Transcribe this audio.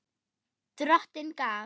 Drottin gaf.